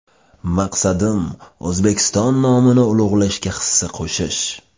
Maqsadim O‘zbekiston nomini ulug‘lashga hissa qo‘shish.